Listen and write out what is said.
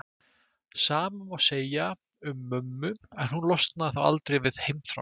Sama má segja um mömmu en hún losnaði þó aldrei við heimþrána.